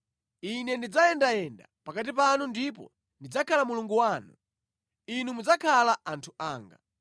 Ine ndidzayendayenda pakati panu ndipo ndidzakhala Mulungu wanu. Inu mudzakhala anthu anga.